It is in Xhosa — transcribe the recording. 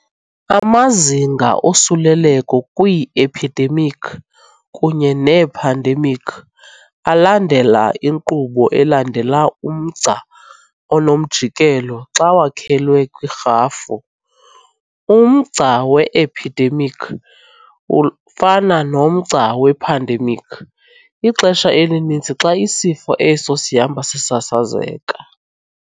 Amazinga osuleleko kwii-ephidemikhi kunye neephandemikhi, alandela inkqubo elandela umgca onomjikelo xa wakhelwe kwirhafu. Umgca we-ephidemikhi ufana nomgca wephandemikhi ixesha elininzi xa isifo eso "sihamba sisasazeka".